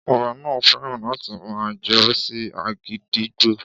Ọba náà fẹ́ràn láti máa jó sí agídígbo